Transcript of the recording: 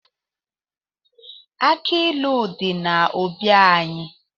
Aki ilu di n'obi anyị